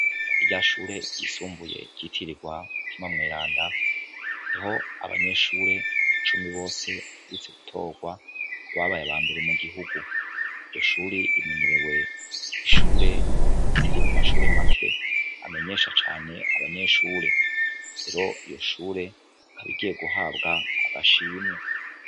Rirya shure ryisumbuye ryitiririwe mutima mweranda niho abanyeshure cumi bose baherutse gutorwa babaye abambere mu gihugu .iryo shure rimenyerewe ,ishure ziri mu mashure make amenyesha cane abanyeshure lero rikaba rigiye guhabwa agashimwe.